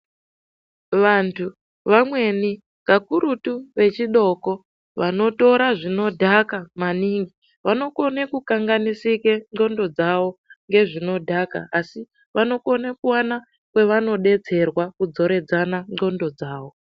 Vantu vamweni kakurutu vechidoko vanotora zvinodhaka maningi vanokone kukanganisike ndxondo dzawo ngezvinodhaka asi vanokone kuwana kweva nodetserwa kudzoredzana ndxondo dzawo.